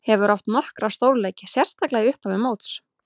Hefur átt nokkra stórleiki, sérstaklega í upphafi móts.